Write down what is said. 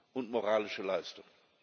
und moralische Leistung.